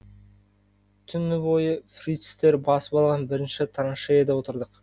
түні бойы фрицтер басып алған бірінші траншеяда отырдық